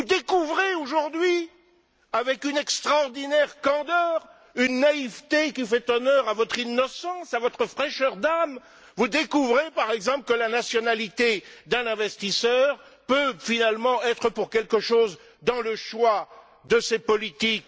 Vous découvrez aujourd'hui, avec une extraordinaire candeur, une naïveté qui fait honneur à votre innocence, à votre fraîcheur d'âme, vous découvrez, par exemple, que la nationalité d'un investisseur peut finalement être pour quelque chose dans le choix de ses politiques.